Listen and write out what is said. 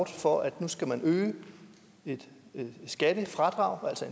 for at man skal øge et skattefradrag altså